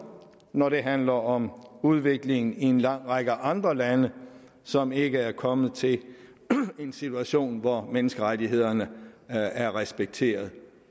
når det handler om udviklingen i en lang række andre lande som ikke er kommet til en situation hvor menneskerettighederne er respekteret